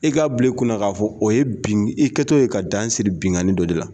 I k'a bila i kun na k'a fɔ o ye bin i kɛtɔ ye ka dan siri binnkanni dɔ de la